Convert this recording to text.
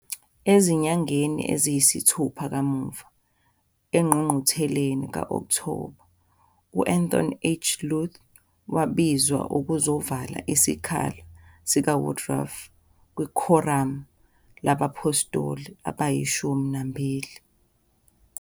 Ezinyangeni eziyisithupha kamuva, engqungqutheleni ka-Okthoba, u- Anthon H. Lund wabizelwa ukuzovala isikhala sikaWoodruff kwiKhoramu LabaPhostoli AbayiShumi Nambili.